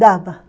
Dava.